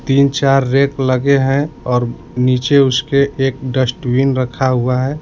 तीन चार रैक लगे हैं और नीचे उसके एक डस्टबिन रखा हुआ है।